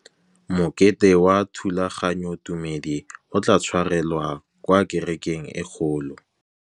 Mokete wa thulaganyôtumêdi o tla tshwarelwa kwa kerekeng e kgolo.